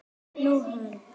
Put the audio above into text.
Nú, hann.